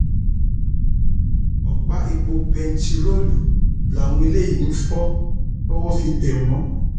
ọpá epo bẹntiróòlù um làwọn eléyìí ń fọ um tọwọ fi tẹ wọn